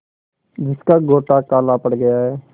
जिसका गोटा काला पड़ गया है